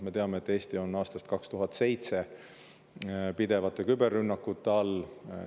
Me teame, et Eesti on aastast 2007 pidevate küberrünnakute all.